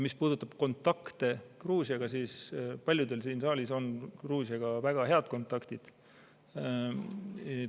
Mis puudutab kontakte Gruusiaga, siis paljudel siin saalis on Gruusiaga väga head kontaktid.